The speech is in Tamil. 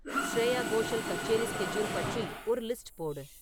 ஸ்ரேயா கோஷல் கச்சேரி ஸ்கெட்யூல் பற்றி ஒரு லிஸ்ட் போடு